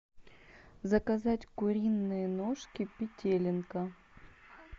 заказать куриные ножки петелинка